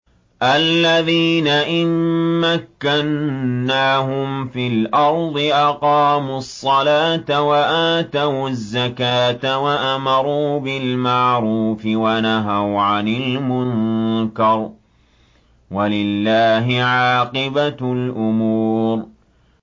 الَّذِينَ إِن مَّكَّنَّاهُمْ فِي الْأَرْضِ أَقَامُوا الصَّلَاةَ وَآتَوُا الزَّكَاةَ وَأَمَرُوا بِالْمَعْرُوفِ وَنَهَوْا عَنِ الْمُنكَرِ ۗ وَلِلَّهِ عَاقِبَةُ الْأُمُورِ